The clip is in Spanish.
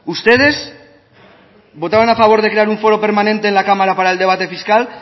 ustedes votaron a favor de crear un foro permanente en la cámara para el debate fiscal